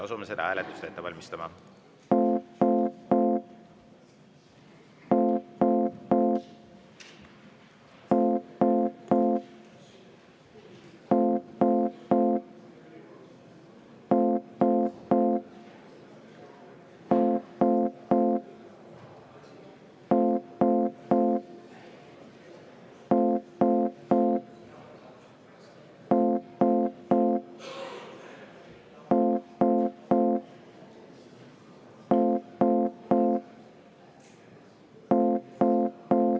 Asume seda hääletust ette valmistama.